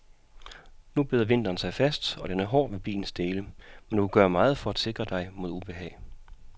Nu bider vinteren sig fast og den er hård ved bilens dele, men du kan gøre meget for at sikre dig mod ubehag.